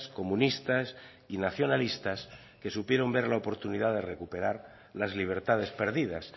comunistas y nacionalistas que supieron ver la oportunidad de recuperar las libertades perdidas